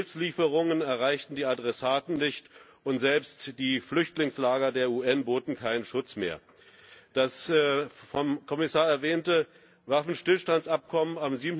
Hilfslieferungen erreichten die Adressaten nicht, und selbst die Flüchtlingslager der UN boten keinen Schutz mehr. Das vom Kommissar erwähnte Waffenstillstandsabkommen vom